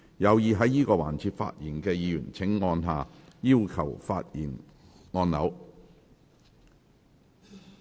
有意在這個環節發言的議員請按下"要求發言"按鈕。